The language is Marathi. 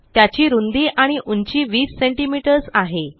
त्याची रुंदी आणि उंची 20 सीएमएस आहे